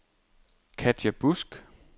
Katja Busk